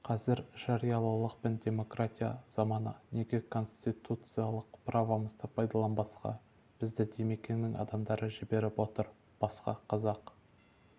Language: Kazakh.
қазір жариялылық пен демократия заманы неге конституциялық правомызды пайдаланбасқа бізді димекеңнің адамдары жіберіп отыр басқа қазақ